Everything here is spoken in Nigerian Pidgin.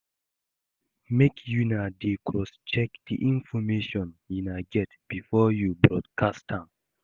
Make una dey crosscheck the information una get before you broadcast am